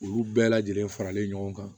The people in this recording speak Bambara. Olu bɛɛ lajɛlen faralen ɲɔgɔn kan